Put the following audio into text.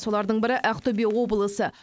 солардың бірі ақтөбе облысы